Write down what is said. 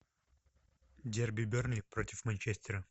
дерби бернли против манчестера